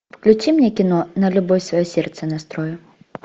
включи мне кино на любовь свое сердце настрою